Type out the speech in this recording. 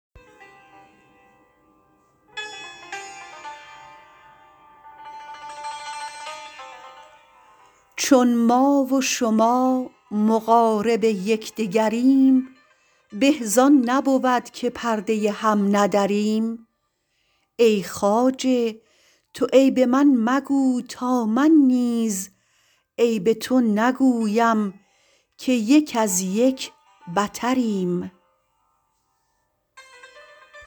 چون ما و شما مقارب یکدگریم به زان نبود که پرده هم ندریم ای خواجه تو عیب من مگو تا من نیز عیب تو نگویم که یک از یک بتریم